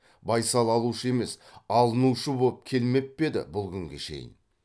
байсал алушы емес алынушы боп келмеп пе еді бұл күнге шейін